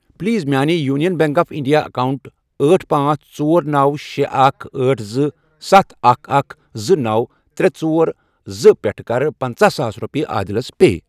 Please میانہِ Union Bank of India account أٹھ، پانژھ، ژور، نوَ، شے، اکھَ، أٹھ، زٕ، ستھَ، اکھَ، اکھَ، زٕ، نوَ، ترے، ژور، زٕ، پٮ۪ٹھٕ کَر پَنژَہ ساس رۄپیہِ عادِلس پے۔